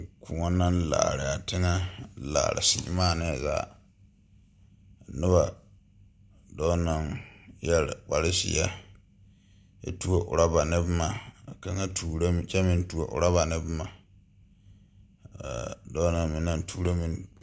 Koɔ naŋ laaraa teŋɛ laare siimaanɛɛ zaa noba dɔɔ naŋ yɛre kpare zie kyɛ tuo rɔba ne boma ka tuuroŋ kyɛ meŋ tuo rɔba ne boma a dɔɔ na meŋ naŋ tuuro meŋ.